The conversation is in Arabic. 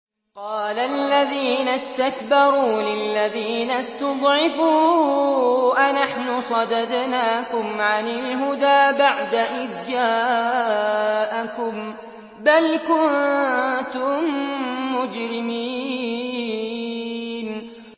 قَالَ الَّذِينَ اسْتَكْبَرُوا لِلَّذِينَ اسْتُضْعِفُوا أَنَحْنُ صَدَدْنَاكُمْ عَنِ الْهُدَىٰ بَعْدَ إِذْ جَاءَكُم ۖ بَلْ كُنتُم مُّجْرِمِينَ